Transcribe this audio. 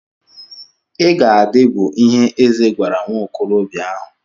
I ga-adị bụ ihe eze gwara nwa okorobịa ahụ.